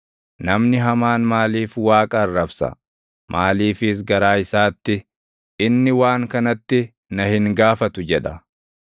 Namni hamaan maaliif Waaqa arrabsa? Maaliifis garaa isaatti, “Inni waan kanatti na hin gaafatu” jedha?